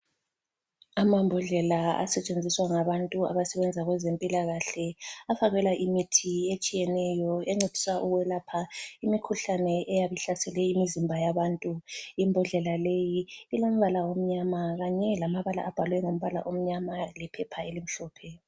Amambodlela asetshenziswa ngabantu abasebenza kwezempilakahle afakelwa imithi etshiyeneyo encedisa ukwelapha imikhuhlane eyabe ihlasele imizimba yabantu. Imbodlela leyi ilombala omnyama kanye lamabala abhalwe ngombala omnyama lephepha elimhlophe.